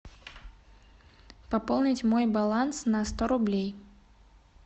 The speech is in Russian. пополнить мой баланс на сто рублей